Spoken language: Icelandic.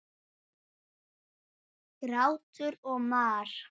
Grátur og mar.